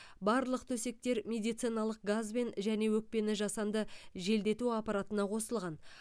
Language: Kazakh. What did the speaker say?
барлық төсектер медициналық газбен және өкпені жасанды желдету аппаратына қосылған